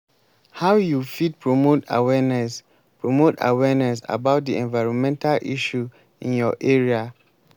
how you fit promote awareness promote awareness about di environmental issue in your area?